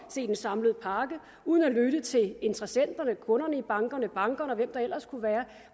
se den samlede pakke uden at lytte til interessenterne kunderne i bankerne bankerne og hvem det ellers kunne være